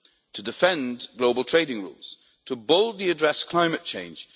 to defend global trading rules to boldly address climate change